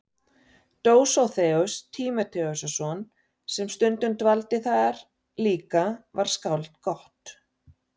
Dósóþeus Tímóteusson sem stundum dvaldi þar líka var skáld gott.